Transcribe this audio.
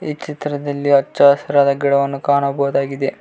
ಈ ಚಿತ್ರದಲ್ಲಿ ಹಚ್ಚ ಹಸಿರಾದ ಗಿಡವನ್ನು ಕಾಣಬಹುದಾಗಿದೆ.